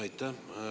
Aitäh!